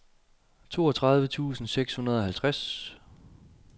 toogtredive tusind seks hundrede og halvtreds